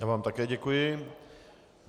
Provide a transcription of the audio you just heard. Já vám také děkuji.